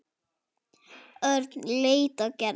Örn leit á Gerði.